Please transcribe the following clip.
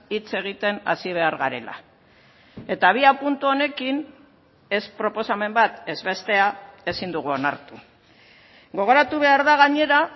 hitz egiten hasi behar garela eta abiapuntu honekin ez proposamen bat ez bestea ezin dugu onartu gogoratu behar da gainera